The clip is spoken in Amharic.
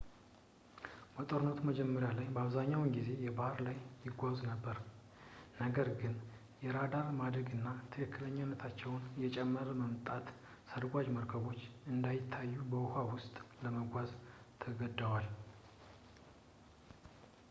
በጦርነቱ መጀመሪያ ላይ በአብዛኛው ጊዜ በባህር ላይ ይጓዙ ነበር ነገር ግን የራዳር ማደግ እና የትክክለኛነታቸው እየጨመረ መምጣት ሰርጓጅ መርከቦቹ እንዳይታዩ በውኃ ውስጥ ለመጓዝ ተገደዋል